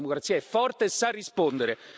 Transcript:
La democrazia è forte e sa rispondere.